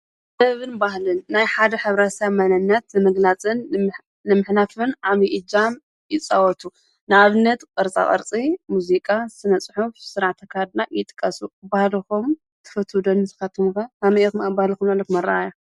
ሰብን ባህልን ናይ ሓደ ኅብረተሰብ መነነት ንምግላጽን ንምኅናፍን ዓቢይ ኢጃም ይጸወቱ። ንኣብነት ቕርፃ ቕርጺ፣ ሙዚቃ፣ ስነጽሑፍ ሥራዕተ ካድና ይጥቀሱ። ባህለኩም ትፍቱው ዶ ንስኻትኵም ከ ከመይ ኢኩም ኣብ ባህልኩም ዘለኩም ኣራኣእያ?